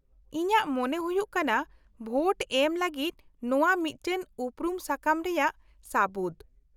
-ᱤᱧᱟᱹᱜ ᱢᱚᱱᱮ ᱦᱩᱭᱩᱜ ᱠᱟᱱᱟ ᱵᱷᱳᱴ ᱮᱢ ᱞᱟᱹᱜᱤᱫ ᱱᱚᱶᱟ ᱢᱤᱫᱴᱟᱝ ᱩᱯᱨᱩᱢ ᱥᱟᱠᱟᱢ ᱨᱮᱭᱟᱜ ᱥᱟᱹᱵᱩᱫᱽ ᱾